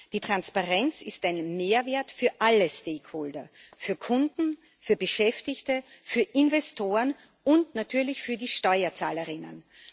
Die Transparenz ist ein Mehrwert für alle Stakeholder für Kunden, für Beschäftigte, für Investoren und natürlich für die SteuerzahlerInnen.